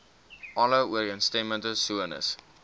alle ooreenstemmende sones